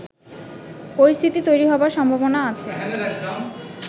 পরিস্থিতি তৈরি হবার সম্ভাবনা আছে